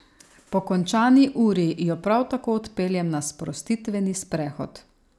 Po končani uri jo prav tako odpeljem na sprostitveni sprehod.